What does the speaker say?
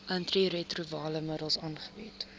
antiretrovirale middels aangebied